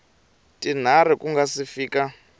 tinharhu ku nga si fika